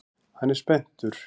Hann er spenntur.